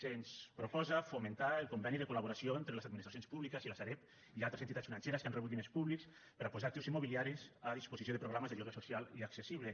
se’ns proposa fomentar el conveni de col·laboració entre les administracions públiques i la sareb i altres entitats financeres que han rebut diners públics per a posar actius immobiliaris a disposició de programes de lloguer social i accessible